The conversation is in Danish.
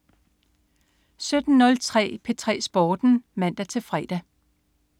17.03 P3 Sporten (man-fre)